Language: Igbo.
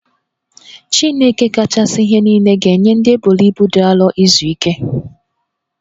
Chineke kachasi ihe nile ga-enye ndị eboro ibu dị arọ izu ike